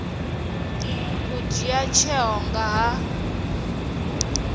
u dzhia tsheo nga ha